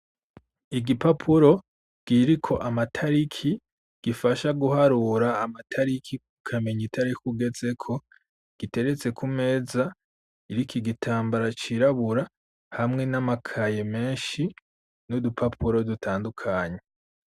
Igipapuro kiriko amatariki gifasha guharura amatariki ukamenya itariki tugeze ko giteretse ku meza iriki gitambara cirabura hamwe n'amakaye menshi n'udupapuro dutandukanye.